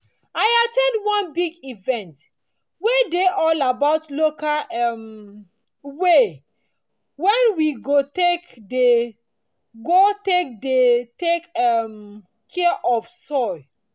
i at ten d one big event wey dey all about local um way wen we go take dey go take dey take um care of soil